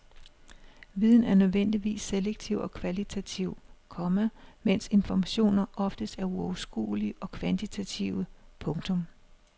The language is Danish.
Viden er nødvendigvis selektiv og kvalitativ, komma mens informationer oftest er uoverskuelige og kvantitative. punktum